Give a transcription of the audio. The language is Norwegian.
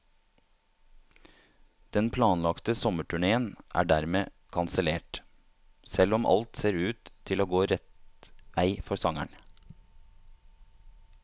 Den planlagte sommerturnéen er dermed kansellert, selv om alt ser ut til å gå rett vei for sangeren.